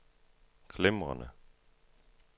glimrende